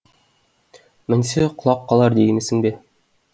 мінсе құлап қалар деймісің бе